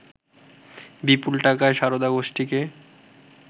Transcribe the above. বিপুল টাকায় সারদা গোষ্ঠীকে